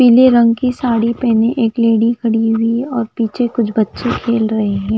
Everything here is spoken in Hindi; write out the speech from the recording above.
पीले रंग की साड़ी पेहने एक लेडी खड़ी हुई है और पीछे कुछ बच्चे खेल रहे हैं।